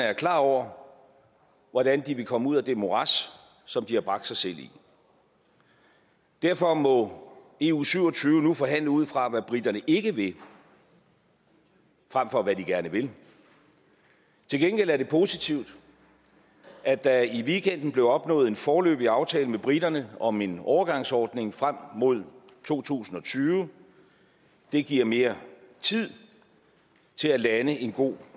er klar over hvordan de vil komme ud af det morads som de har bragt sig selv i derfor må eu syv og tyve nu forhandle ud fra hvad briterne ikke vil frem for hvad de gerne vil til gengæld er det positivt at der i weekenden blev opnået en foreløbig aftale med briterne om en overgangsordning frem mod to tusind og tyve det giver mere tid til at lande en god